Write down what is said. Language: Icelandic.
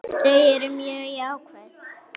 Þau eru mjög jákvæð.